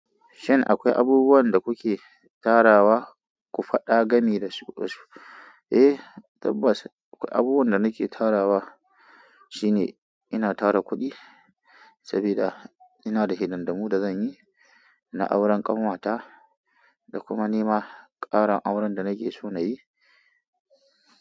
Shin akwai abubuwan da kuke tarawa ku faɗa gami da su Eh, tabbas akwai abubuwan da nake tarawa shine ina tara kuɗi saboda ina da hidindimu da zanyi na auren ƙanwata da kuma nima ƙarin auren da nake so na yi.